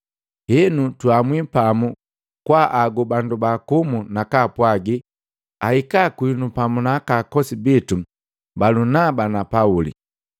Henu, tuamwi pamu kwaagu bandu baakumu nakaapwagi ahika kwinu pamu na akosi bitu Balunaba na Pauli,